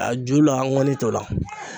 A ju la ŋɔni t'o la.